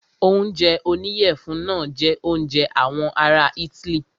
Oúnjẹ oníyẹ̀fun náà jẹ oúnjẹ àwọn ará itály.